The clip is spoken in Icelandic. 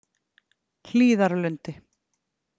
Hlíðarlundi